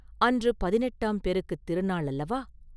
அன்று பதினெட்டாம் பெருக்குத் திருநாள் அல்லவா?